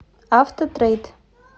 автотрейд